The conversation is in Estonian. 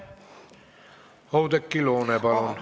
Oudekki Loone, palun!